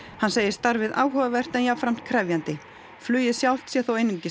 hann segir starfið áhugavert en jafnframt krefjandi flugið sjálft sé þó einungis